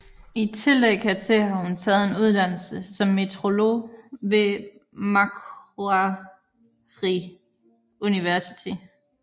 I tillæg hertil har hun taget en uddannelse som meteorolog ved Macquarie University